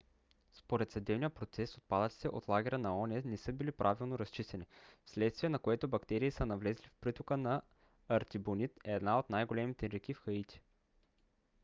според съдебния процес отпадъците от лагера на оон не са били правилно разчистени вследствие на което бактерии са навлезли в притока на артибонит една от най-големите реки в хаити